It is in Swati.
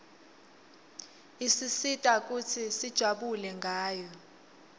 isisita kutsi sijabule ngayo